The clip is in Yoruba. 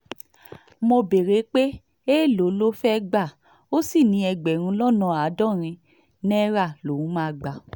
mo béèrè pé èèlò ló fẹ́ẹ́ gbà ó sì ní ẹgbẹ̀rún lọ́nà àádọ́rin náírà lòún máa gbà